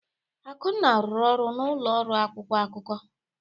Akunna rụrụ ọrụ n'ụlọ ọrụ akwụkwọ akụkọ.